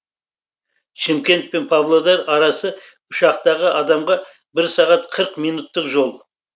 шымкент пен павлодар арасы ұшақтағы адамға бір сағат қырық минуттық жол